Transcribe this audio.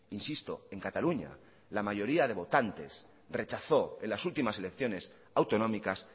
insisto en cataluña la mayoría de votantes rechazó en las últimas elecciones autonómicas